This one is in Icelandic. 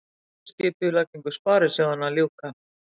Endurskipulagningu sparisjóðanna að ljúka